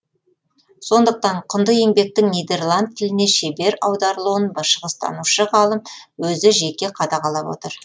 сондықтан құнды еңбектің нидерланд тіліне шебер аударылуын шығыстанушы ғалым өзі жеке қадағалап отыр